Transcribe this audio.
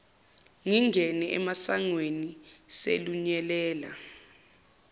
ngingene emasangweni selunyelela